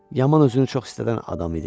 Yaman özünü çox istəyən adam idi.